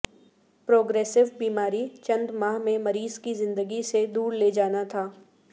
progressive بیماری چند ماہ میں مریض کی زندگی سے دور لے جانا تھا